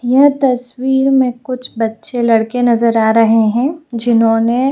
यह तस्वीर में कुछ बच्चे लड़के नजर आ रहे हैं जिन्होंने --